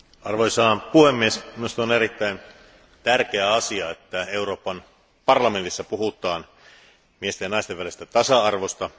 Arvoisa puhemies, minusta on erittäin tärkeä asia, että Euroopan parlamentissa puhutaan miesten ja naisten välisestä tasa arvosta.